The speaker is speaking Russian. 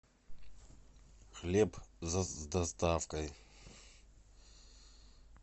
хлеб с доставкой